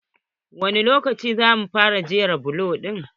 Wani lokaci za mu fara jera bulokin?